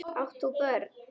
Átt þú börn?